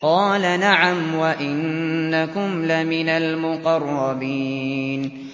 قَالَ نَعَمْ وَإِنَّكُمْ لَمِنَ الْمُقَرَّبِينَ